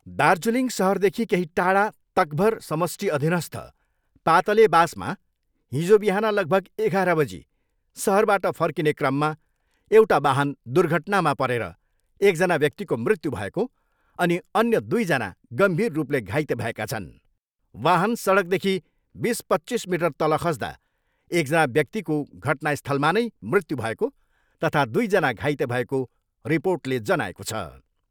दार्जिलिङ सहरदेखि केही टाढा तकभर समष्टि अधिनस्थ पातलेबासमा हिजो बिहान लगभग एघार बजी सहरबाट फर्किने क्रममा एउटा वाहन दुर्घटनामा परेर एकजना व्यक्तिको मृत्यु भएको अनि अन्य दुईजना गम्भीर रूपले घाइते भएका छन्। वाहन सडकदेखि बिस पच्चिस मिटर तल खस्दा एकजना व्यक्तिको घटनास्थलमा नै मृत्यु भएको तथा दुईजना घाइते भएको रिर्पोटले जनाएको छ।